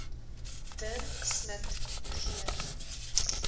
der smit g